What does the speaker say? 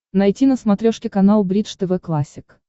найти на смотрешке канал бридж тв классик